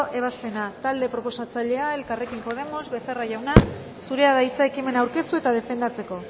ebazpena talde proposatzailea elkarrekin podemos becerra jauna zurea da hitza ekimena aurkeztu eta defendatzeko